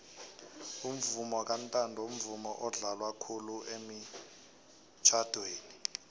umvumo kantando mvumo odlalwa khulu emitjnadweni